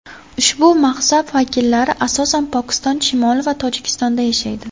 Ushbu mazhab vakillari asosan Pokiston shimoli va Tojikistonda yashaydi.